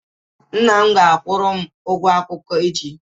Nna m ga akwụrụ m ụgwo akwụkwo echi